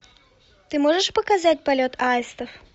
ты можешь показать полет аистов